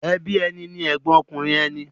Ẹbí ẹni ni ẹ̀gbọ́n ọkùnrin ẹni.